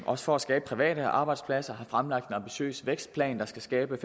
også for at skabe private arbejdspladser vi har fremlagt en ambitiøs vækstplan der skal skabe